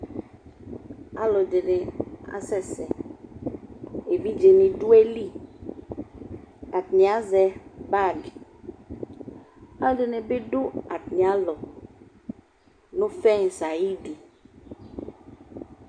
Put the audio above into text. Alʋɛdɩnɩ asɛ sɛ : evidzenɩ dʋ ayili ; atanɩ azɛ bagɩ Alʋɛdɩnɩ bɩ dʋ atamɩalɔ, nʋ fɛŋsɩ ayidu